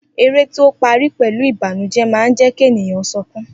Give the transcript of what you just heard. Eré tí ó parí pẹ̀lú Ìbànújẹ́ máa ń jẹ́ kí ènìyàn sukún